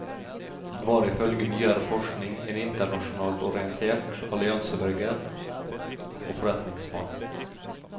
Han var ifølge nyere forskning en internasjonalt orientert alliansebygger og forretningsmann.